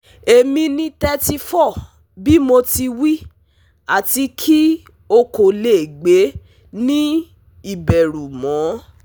Emi ni 34 bi mo ti wi ati ki o ko le gbe ni iberu mọ